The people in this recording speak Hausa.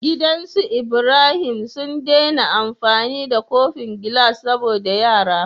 Gidan us Ibrahim su dai na amfani da kofin gilas saboda yara